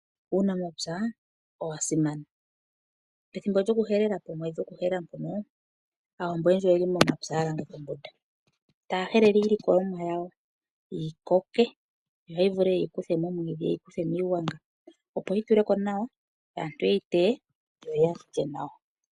Uunamapya owa simana. Pethimbo lyokuhelela, Aawambo oyendji oye li mepya ya langeka ombunda taya helele iilikolomwa yawo, yi koke opo ya vule ye yi kuthe momwiidhi nomiigwanga opo yi tule ko nawa, opo aantu ye yi teye opo ya lye nawa.